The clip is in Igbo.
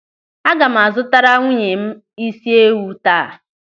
Aga m a zụtara nwunye m isi ewu taa.